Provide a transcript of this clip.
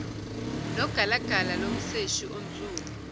nogalagala lomseshi onsundu